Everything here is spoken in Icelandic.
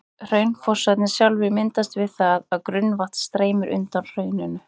Hraunfossarnir sjálfir myndast við það að grunnvatn streymir undan hrauninu.